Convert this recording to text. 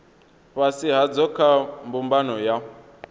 fhasi hadzo kha mbumbano ya